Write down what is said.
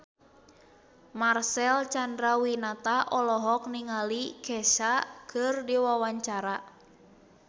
Marcel Chandrawinata olohok ningali Kesha keur diwawancara